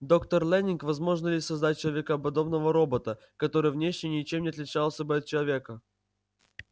доктор лэннинг возможно ли создать человекоподобного робота который внешне ничем не отличался бы от человека